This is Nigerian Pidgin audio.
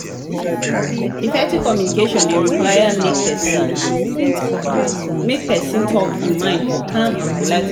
effective communication de require make person talk in mind for calm and polite manner